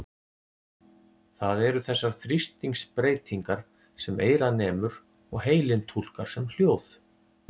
Það eru þessar þrýstingsbreytingar sem eyrað nemur og heilinn túlkar sem hljóð.